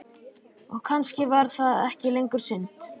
Og kannski var það ekki lengur synd.